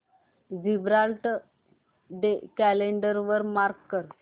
Gibraltar day calendar वर mark कर